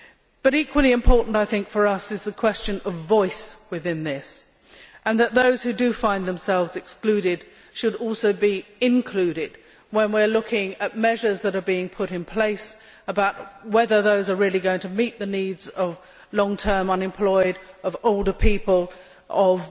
But equally important for us is, I think, the question of voice within this that those who find themselves excluded should also be included when we are looking at measures that are being put in place and considering whether they are really going to meet the needs of the long term unemployed, of older people, of